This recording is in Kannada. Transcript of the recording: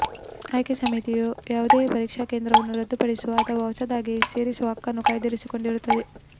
ಆಯ್ಕೆ ಸಮಿತಿಯು ಯಾವುದೇ ಪರೀಕ್ಷಾ ಕೇಂದ್ರವನ್ನು ರದ್ದುಪಡಿಸುವ ಅಥವಾ ಹೊಸದಾಗಿ ಸೇರಿಸುವ ಹಕ್ಕನ್ನು ಕಾಯ್ದಿರಿಸಿಕೊಂಡಿರುತ್ತದೆ